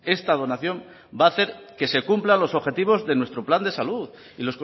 esta donación va a hacer que se cumplan los objetivos de nuestro plan de salud y